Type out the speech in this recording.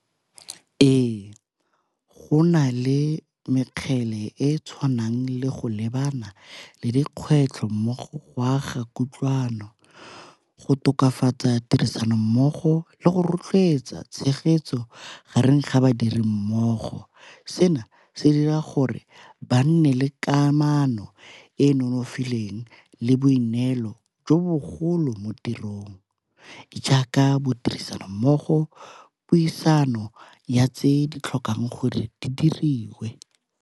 Ee, go na le mekgele e e tshwanang le go lebana le dikgwetlho mmogo go a ga kutlwano, go tokafatsa tirisano mmogo le go rotloetsa tshegetso gareng ga badiri mmogo. Seno se dira gore ba nne le kamano e e nonofileng le boineelo jo bogolo mo tirong, jaaka bo tirisanommogo, puisano ya tse di tlhokang gore di di diriwe.